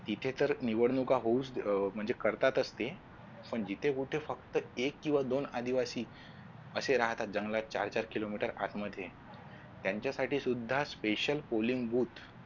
इथे तर निवडणुका होऊच म्हणजे करतातच ते पण जिथे कुठे फक्त एक किंवा दोन आदिवासी असे राहतात जंगलात चार चार किलोमीटर आत मध्ये त्यांच्यासाठी सुद्धा special colling boot